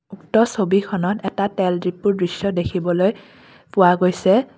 উক্ত ছবিখনত এটা তেল ডিপোৰ দৃশ্য দেখিবলৈ পোৱা গৈছে।